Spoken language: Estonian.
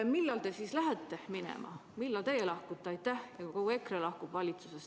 Millal te siis lähete minema, millal teie lahkute ja kogu EKRE valitsusest lahkub?